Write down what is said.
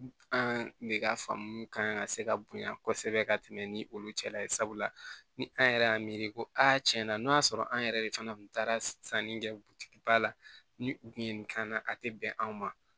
An de ka faamu kan ka se ka bonya kosɛbɛ ka tɛmɛ ni olu cɛla ye sabula ni an yɛrɛ y'a miiri ko a tiɲɛ na n'o y'a sɔrɔ an yɛrɛ de fana kun taara sanni kɛ butigiba la ni u kun ye nin k'an na a ti bɛn an ma